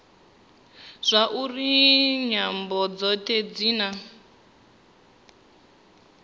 zwauri nyambo dzothe dzi na